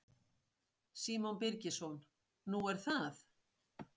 Símon Birgisson: Nú er það?